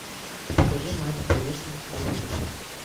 покажи матч боец на телевизоре